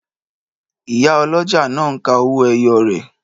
Ìyá ọlọ́jà náà ńka owó ẹyọ rẹ̀